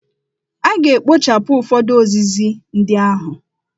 A ga-ekpochapụ ụfọdụ ozizi ndị ahụ.